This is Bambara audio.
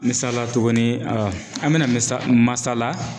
misala tuguni an bɛna misa masala